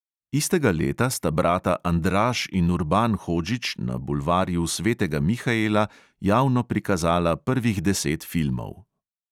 Istega leta sta brata andraž in urban hodžić na bulvarju svetega mihaela javno prikazala prvih deset filmov.